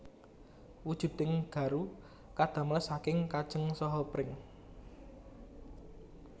Wujuding garu kadamel saking kajeng saha pring